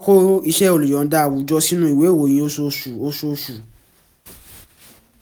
kọ iṣẹ́ olùyọ̀ǹda áwùjọ sínú ìwé ìròyìn oṣooṣu oṣooṣu